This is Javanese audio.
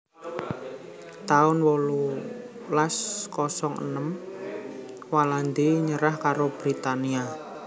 taun wolulas kosong enem Walandi nyerah karo Britania